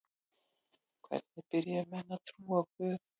Hvenær byrjuðu menn að trúa á guð?